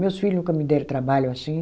Meus filho nunca me deram trabalho assim.